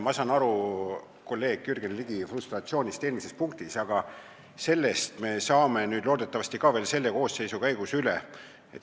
Ma saan aru kolleeg Jürgen Ligi frustratsioonist eelmise punkti hääletusel, aga sellest probleemist me saame loodetavasti veel selle koosseisu käigus üle.